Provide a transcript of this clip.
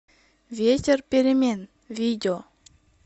ветер перемен видео